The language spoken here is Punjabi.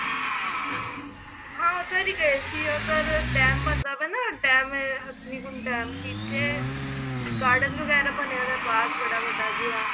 ਹਾਂ ਉੱਧਰ ਹੀ ਗਏ ਸੀ ਉੱਧਰ ਡੇਮ ਬਣਦਾ ਪਿਆ ਏ ਨਾ ਡੇਮ ਹਥਨੀ ਕੁੰਡ ਡੇਮ ਜਿੱਥੇ garden ਵਗੈਰਾ ਬਣਿਆ ਪਿਆ ਬਾਘ ਬੜਾ ਵੱਡਾ ਜਿਹਾ